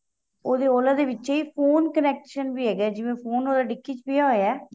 ਉਹਦੇ Ola ਦੇ ਵਿਚੇ ਹੀ ਫੋਨ connection ਵੀ ਹੈਗਾ ਏ ਜਿਵੇਂ ਫੋਨ ਤੁਹਾਡਾ ਡਿੱਕੀ ਪਇਆ ਹੋਇਆ ਏ